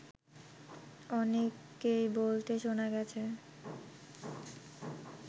অনেককেই বলতে শোনা গেছে